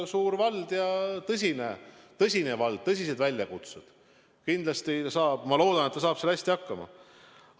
Suur vald ja tõsine vald, tõsised väljakutsed, kindlasti saab ta – ma loodan, et ta saab – seal hästi hakkama.